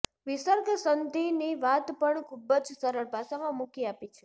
વિસર્ગ સંધિની વાત પણ ખૂબ જ સરળ ભાષામાં મૂકી આપી છે